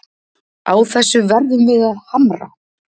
Á þessu verðum við að hamra